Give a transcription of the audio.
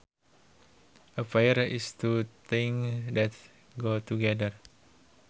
A pair is two things that go together